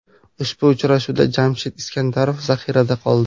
Ushbu uchrashuvda Jamshid Iskandarov zaxirada qoldi.